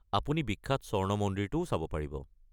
আপুনি বিখ্যাত স্বৰ্ণ মন্দিৰটোও চাব পাৰিব।